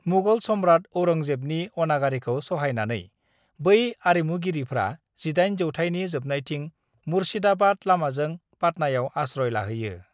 "मुगल सम्राट औरंगजेबनि अनागारिखौ सहायनानै, बै आरिमुगिरिफ्रा 18 जौथायनि जोबनायथिं मुर्शिदाबाद लामाजों पाटनायाव आस्रय लाहैयो।"